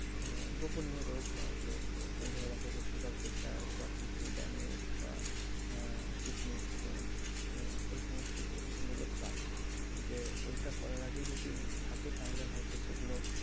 আহ গোপনীয় রোগ হয়তো ধরে রাখো যে sugar pressure বা kidney damage বা আহ kidney stone আহ এই সমস্ত প্রমান গুলো চায় যে ওইটা করার আগে যদি থাকে তাহলে সেগুলো হয়তো,